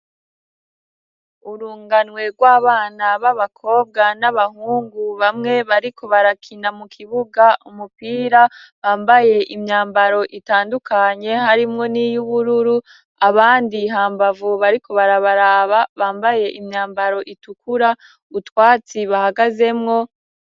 Urunganwe rwabana babakobwa n'abahungu bamwe bariko barakina mu kibuga umupira bambaye imyambaro itandukanye harimwo n'iyubururu abandi hambavu bariko barabaraba bambaye imyambaro itukura utwatsi bahagazemwo.